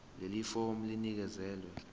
leli fomu linikezelwe